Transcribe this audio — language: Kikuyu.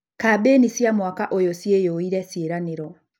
Kambĩni cia mwaka ũyũ ciyũire ciĩranĩro.